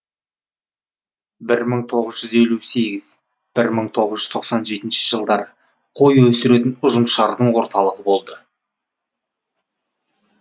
бір мың тоғыз жүз елу сегіз бір мың тоғыз жүз тоқсан жетінші жылдар қой өсіретін ұжымшардың орталығы болды